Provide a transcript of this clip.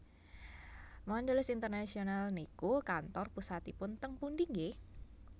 Mondelez International niku kantor pusatipun teng pundi nggeh?